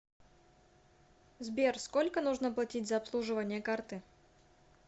сбер сколько нужно платить за обслуживание карты